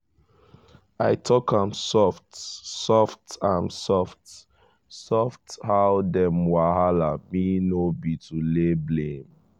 i talk am soft-soft am soft-soft how dem wahala me no be to lay blame-o.